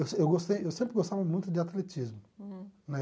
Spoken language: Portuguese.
Eu gostei eu sempre gostava muito de atletismo. Uhum. Né